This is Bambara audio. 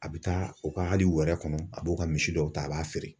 A be taa u ka hali wɛrɛ kɔnɔ ,a b'o ka misi dɔw ta a b'a feere.